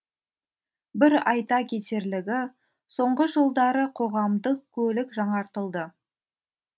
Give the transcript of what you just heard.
бір айта кетерлігі соңғы жылдары қоғамдық көлік жаңартылды